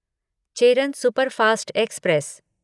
Cheran superfast express